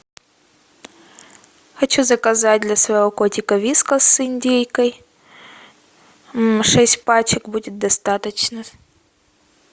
хочу заказать для своего котика вискас с индейкой шесть пачек будет достаточно